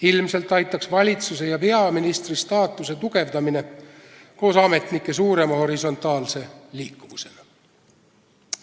Ilmselt aitaks siin valitsuse ja peaministri staatuse tugevdamine koos ametnike suurema horisontaalse liikuvusega.